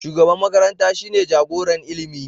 Shugaban makaranta shine jagoran ilimi.